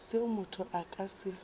seo motho a ka se